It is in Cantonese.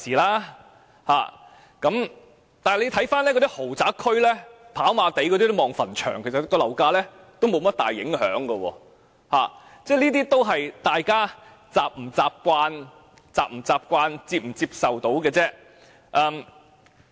但是，大家看看那些豪宅區，例如跑馬地可看到墳場，對樓價卻沒有甚麼大影響，只視乎大家是否習慣，以及能否接受而已。